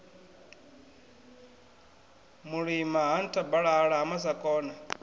mulima ha nthabalala ha masakona